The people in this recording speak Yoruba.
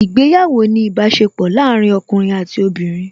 Ìgbéyàwó ni ìbáṣepọ̀ láàárín ọkùnrin àti obìnrin